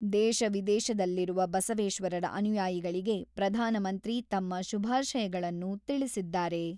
ದೇಶ ವಿದೇಶದಲ್ಲಿರುವ ಬಸವೇಶ್ವರರ ಅನುಯಾಯಿಗಳಿಗೆ ಪ್ರಧಾನಮಂತ್ರಿ ತಮ್ಮ ಶುಭಾಶಯಗಳನ್ನು ತಿಳಿಸಿದ್ದಾರೆ.